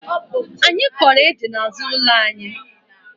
Anyi Koro ede n'azu ulo anyi